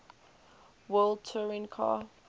world touring car